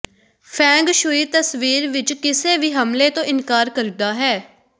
feng shui ਤਸਵੀਰ ਵਿਚ ਕਿਸੇ ਵੀ ਹਮਲੇ ਤੋਂ ਇਨਕਾਰ ਕਰਦਾ ਹੈ